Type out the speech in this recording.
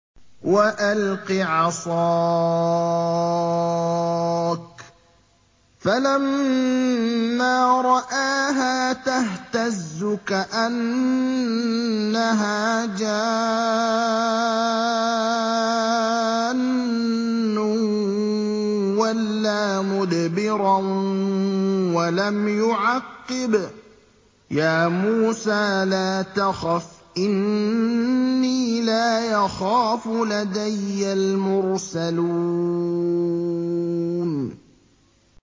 وَأَلْقِ عَصَاكَ ۚ فَلَمَّا رَآهَا تَهْتَزُّ كَأَنَّهَا جَانٌّ وَلَّىٰ مُدْبِرًا وَلَمْ يُعَقِّبْ ۚ يَا مُوسَىٰ لَا تَخَفْ إِنِّي لَا يَخَافُ لَدَيَّ الْمُرْسَلُونَ